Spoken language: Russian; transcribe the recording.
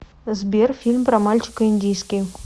сбер фильм про мальчика индийский